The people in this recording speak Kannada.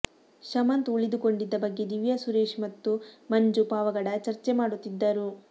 ಶಮಂತ್ ಉಳಿದುಕೊಂಡಿದ್ದ ಬಗ್ಗೆ ದಿವ್ಯಾ ಸುರೇಶ್ ಮತ್ತು ಮಂಜು ಪಾವಗಡ ಚರ್ಚೆ ಮಾಡುತ್ತಿದ್ದರು